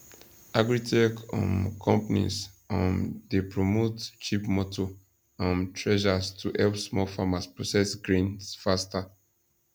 agritech um companies um dey promote cheap motor um threshers to help small farmers process grains faster